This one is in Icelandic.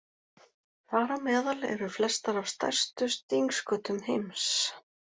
Þar á meðal eru flestar af stærstu stingskötum heims.